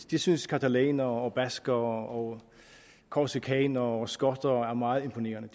det synes catalanere baskere korsikanere og skotter er meget imponerende